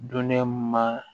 Dunɛma